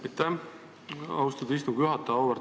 Aitäh, austatud istungi juhataja!